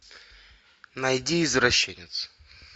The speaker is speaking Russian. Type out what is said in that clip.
найди извращенец